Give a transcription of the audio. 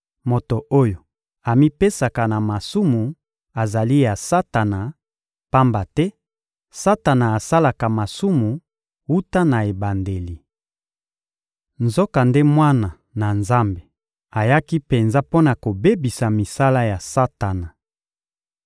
Moto oyo amipesaka na masumu azali ya Satana, pamba te Satana asalaka masumu wuta na ebandeli. Nzokande Mwana na Nzambe ayaki penza mpo na kobebisa misala ya Satana.